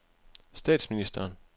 statsministeren